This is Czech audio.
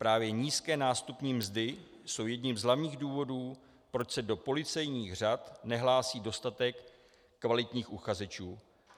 Právě nízké nástupní mzdy jsou jedním z hlavních důvodů, proč se do policejních řad nehlásí dostatek kvalitních uchazečů.